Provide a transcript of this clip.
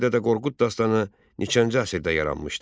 Kitabi Dədə Qorqud dastanı neçənci əsrdə yaranmışdır?